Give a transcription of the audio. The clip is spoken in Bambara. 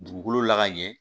Dugukolo la ka ɲɛ